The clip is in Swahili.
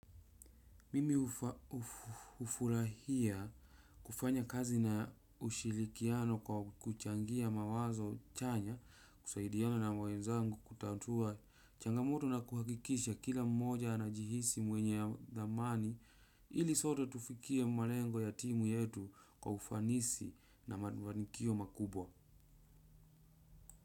Mimi hufurahia kufanya kazi na ushirikiano kwa kuchangia mawazo chanya kusaidiana na wenzangu kutatua changamoto na kuhakikisha kila mmoja anajihisi mwenye thamani ili sote tufikie malengo ya timu yetu kwa ufanisi na mafanikio makubwa.